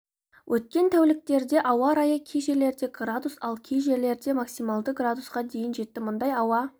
өткен тәуліктерде ауа райы кей жерлерде градус ал кей жерлерде максималды градусқа дейін жетті мұндай ауа